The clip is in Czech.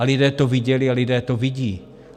A lidé to viděli a lidé to vidí.